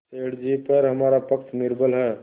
सेठ जीपर हमारा पक्ष निर्बल है